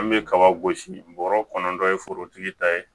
An bɛ kaba gosi bɔrɔ kɔnɔna dɔ ye forotigi ta ye